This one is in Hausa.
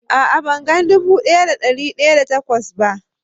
A'a, ban gan dubu daya da da dari daya da takwas ba.